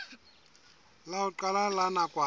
la ho qala la nakwana